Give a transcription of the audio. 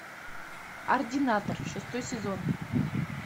ординатор шестой сезон